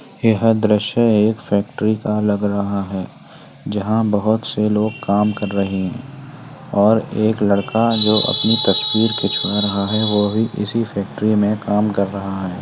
यह दृश्य एक फैक्ट्री का लग रहा है। जहां बहोत से लोग काम कर रहे हैं और एक लड़का जो अपनी तस्वीर खिचवा रहा है वो भी इसी फैक्ट्री में काम कर रहा है।